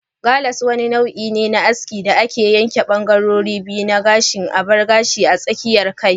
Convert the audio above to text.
Gallas wani nau'i ne na aski inda za'a yanke bangarorin biyu na gashin bar gashi a tsakiyar kai.